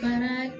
Kanaa